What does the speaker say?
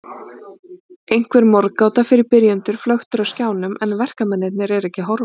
Einhver morðgáta fyrir byrjendur flöktir á skjánum en verkamennirnir eru ekki að horfa.